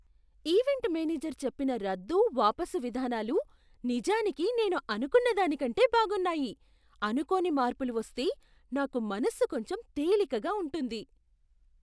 Event manager చెప్పిన రద్దు, వాపసు విధానాలు నిజానికి నేను అనుకున్నదానికంటే బాగున్నాయి! అనుకోని మార్పులు వస్తే నాకు మనసు కొంచెం తేలికగా ఉంటుంది.